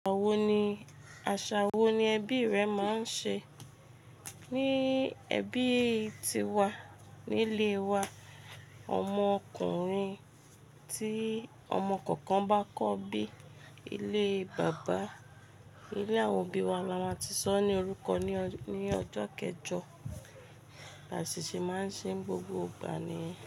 Àwo ni, àṣà wo ni ẹbí rẹ máa ń ṣe? Ní ẹbí ti wa, nílé wa, ọmọ ọkùnrin tí ọmọ kankan bá kọ́ bí Ilé bàbá, ilé àwọn òbí wa la máa ti sọ ọ́ ní orúkọ ní ọdún kejọ, àṣìṣe máa ń ṣe gbogbo ìgbà ni.